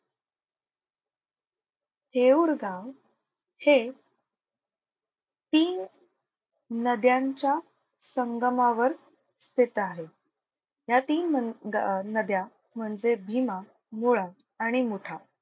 थेऊर गाव हे तीन नद्यांच्या संगमावर स्थित आहे. या तीन मं ग नद्या म्हणजे भीमा, मुळा आणि मुठा.